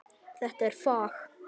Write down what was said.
Þetta er fag.